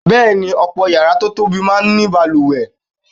Bẹ́ẹ̀ ni, ọ̀pọ̀ yàrá tó tóbi máa ń ní balùwẹ̀.